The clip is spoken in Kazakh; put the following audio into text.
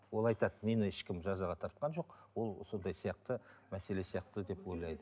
ол айтады мені ешкім жазаға тартқан жоқ ол сондай сияқты мәселе сияқты деп ойлайды